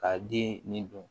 Ka den nin dun